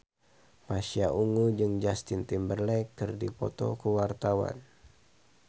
Pasha Ungu jeung Justin Timberlake keur dipoto ku wartawan